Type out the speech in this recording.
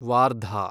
Wardha